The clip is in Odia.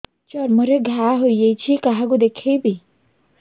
ଚର୍ମ ରେ ଘା ହୋଇଯାଇଛି କାହାକୁ ଦେଖେଇବି